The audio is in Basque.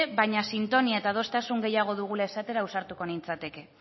baina sintonia eta adostasun gehiago dugula ausartuko nintzateke